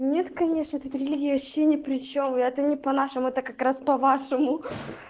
нет конечно вот эта религия вообще непричем я это не по-нашему это как раз по вашему